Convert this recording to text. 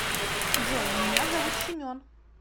джой меня зовут семен